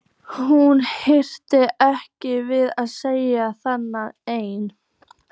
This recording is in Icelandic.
Hún hikaði ekki við að segja það: enginn.